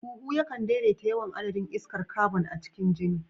Huhu yakan daidaita yawan adadin iskar kabon a cikin jini.